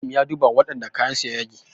Malam ya duba wadanda kayansu ya yage